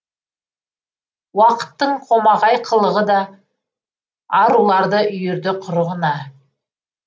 уақыттың қомағай қылығы да аруларды үйірді құрығына